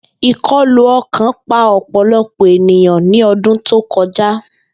Ikọlu ọkan pa ọpọlọpọ eniyan ni ọdun to kọja.